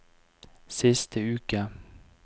siste uke